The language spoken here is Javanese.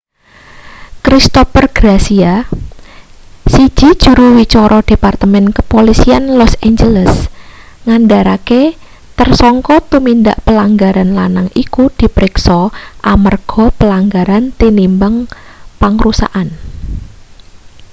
christopher garcia siji juru wicara departemen kepolisian los angeles ngandharake tersangka tumindak pelanggaran lanang iku dipriksa amarga pelanggaran tinimbang pangrusakan